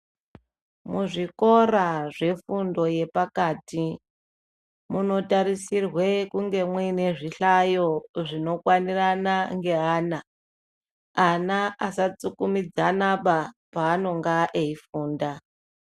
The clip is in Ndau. Muzvikora zvefundo yepakati munotarisirwa kunge muine zvihlayo zvinokwanirana neana ana asatsikimidzana panonga eifunda.